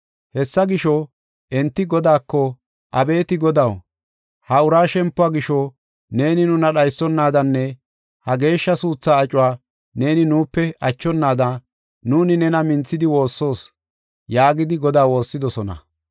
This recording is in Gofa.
Hessa gisho, enti Godaako, “Abeeti Godaw, haa ura shempuwa gisho, neeni nuna dhaysonadanne ha geeshsha suutha acuwa neeni nuupe achonada nuuni nena minthidi woossoos” yaagidi Godaa woossidosona.